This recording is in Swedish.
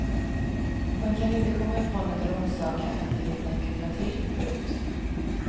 Man kan inte komma ifrån att en orsak är att det helt enkelt hör till. punkt